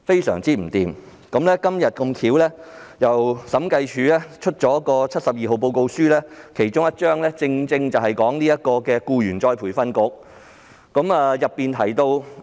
審計署今天發表了審計署署長第七十四號報告書，其中一個篇章正正關乎僱員再培訓局。